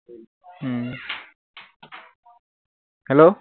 hello